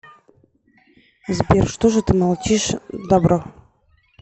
сбер что же ты молчишь дабро